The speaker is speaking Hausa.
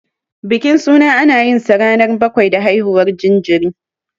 Bikin suna, ana yinsa ranar bakwai da haihuwar jinjiri.